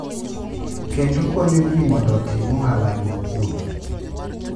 Kendo konyo ji mondo otim ohalagi kuno .